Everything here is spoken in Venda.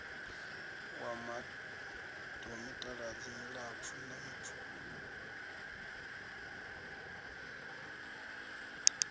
wa mitaladzi milapfu na mipfufhi